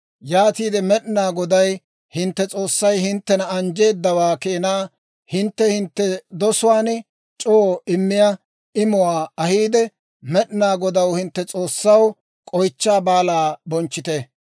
Yaatiide Med'inaa Goday hintte S'oossay hinttena anjjeedawaa keenaa hintte hintte dosuwaan c'oo immiyaa imuwaa ahiide, Med'inaa Godaw, hintte S'oossaw, K'oychchaa Baalaa bonchchite.